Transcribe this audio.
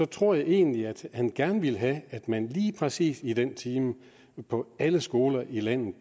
tror jeg egentlig at han gerne ville have at man lige præcis i den og den time på alle skoler i landet